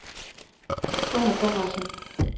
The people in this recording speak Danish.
Gunnar Conradsen